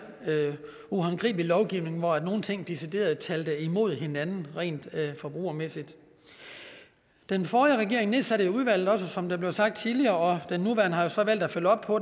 uhåndgribelig lovgivning hvor nogle ting decideret talte imod hinanden rent forbrugermæssigt den forrige regering nedsatte jo udvalget som det blev sagt tidligere og den nuværende har så valgt at følge op på